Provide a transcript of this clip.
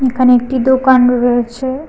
এখানে একটি দোকান রয়েছে।